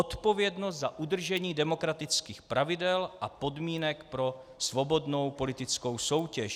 Odpovědnost za udržení demokratických pravidel a podmínek pro svobodnou politickou soutěž.